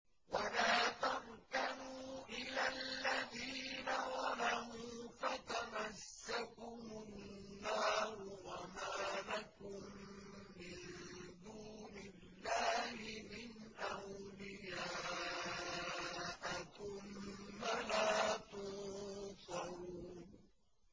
وَلَا تَرْكَنُوا إِلَى الَّذِينَ ظَلَمُوا فَتَمَسَّكُمُ النَّارُ وَمَا لَكُم مِّن دُونِ اللَّهِ مِنْ أَوْلِيَاءَ ثُمَّ لَا تُنصَرُونَ